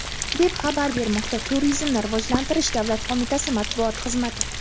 deb xabar bermoqda Turizmni rivojlantirish davlat qo‘mitasi matbuot xizmati.